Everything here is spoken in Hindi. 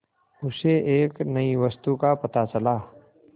उसे एक नई वस्तु का पता चला